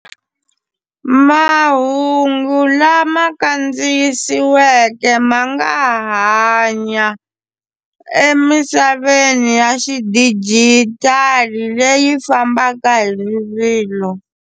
Mahungu lama kandziyisiweke ma nga hanya emisaveni ya xidijitali leyi fambaka hi rivilo.